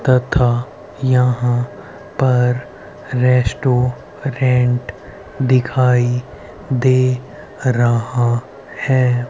तथा यहां पर रेस्टोरेंट दिखाई दे रहा है।